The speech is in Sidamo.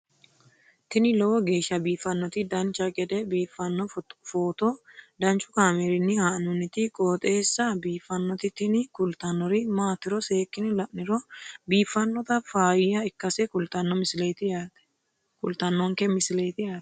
tini lowo geeshsha biiffannoti dancha gede biiffanno footo danchu kaameerinni haa'noonniti qooxeessa biiffannoti tini kultannori maatiro seekkine la'niro biiffannota faayya ikkase kultannoke misileeti yaate